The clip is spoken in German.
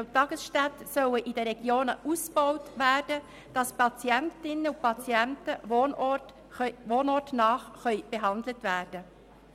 Die Tageskliniken und Tagesstätten in den Regionen sollen ausgebaut werden, damit die Patientinnen und Patienten wohnortnah behandelt werden